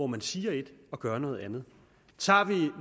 man siger et og gør noget andet tager vi